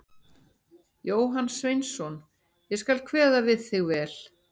Jóhann Sveinsson: Ég skal kveða við þig vel.